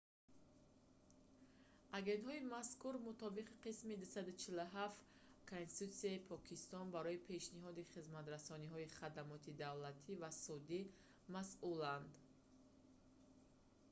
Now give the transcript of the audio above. агентҳои мазкур мутобиқи қисми 247 конститутсияи покистон барои пешниҳоди хизматрасонии хадамоти давлатӣ ва судӣ масъуланд